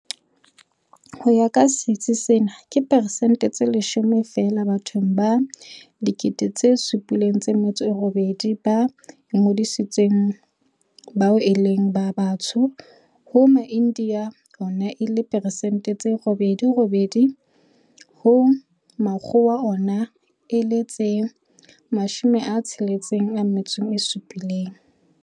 Ho ya ka sitsi sena, ke persente tse 10 feela bathong ba 78 000 ba ingodisitseng bao e leng ba Batsho, ha Maindiya ona e le persente tse 9.9 ha Makgowa ona e le tse 67.